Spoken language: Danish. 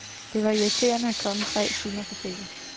Det var irriterende at komme tre timer for sent.